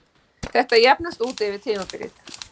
Þetta jafnast út yfir tímabilið.